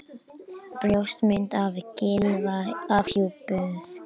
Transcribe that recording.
Brjóstmynd af Gylfa afhjúpuð